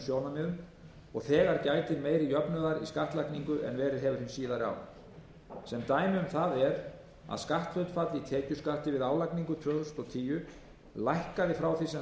sjónarmiðum og þegar gætir meiri jöfnuðar í skattlagningu en verið hefur hin síðari ár sem dæmi um það er að skatthlutfall í tekjuskatti við álagningu tvö þúsund og tíu lækkaði frá því sem það hafði verið fyrir tvö